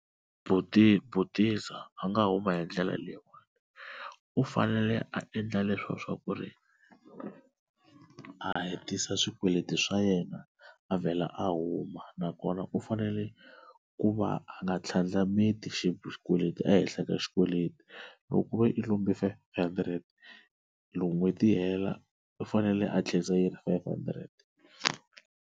Buti butiza a nga huma hi ndlela leyiwani u fanele a endla leswo swa ku ri a hetisa swikweleti swa yena a vhela a huma na kona u fanele ku va a nga tlhandlameti xikweleti ehenhla ka xikweleti loko ku ve i lombe loko five hundred n'hweti yi hela u fanele a tlherisa yi ri five hundred.